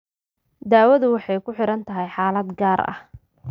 Daawadu waxay ku xidhan tahay xaalad gaar ah.